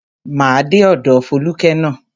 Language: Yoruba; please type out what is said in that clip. Máa dé ọ̀dọ̀ Fólúkẹ́ ná.